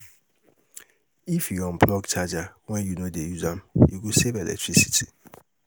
If you unplug charger when you no dey use am, e go save electricity